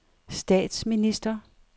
statsminister